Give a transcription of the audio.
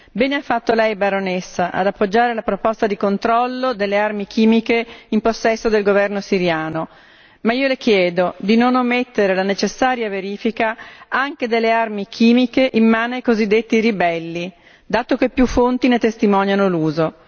Bene ha fatto lei, baronessa, ad appoggiare la proposta di controllo delle armi chimiche in possesso del governo siriano, ma io le chiedo di non omettere la necessaria verifica anche delle armi chimiche in mano ai cosiddetti ribelli, dato che più fonti ne testimoniano l'uso.